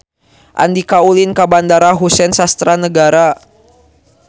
Andika ulin ka Bandara Husein Sastra Negara